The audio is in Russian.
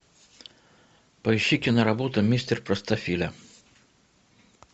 поищи киноработу мистер простофиля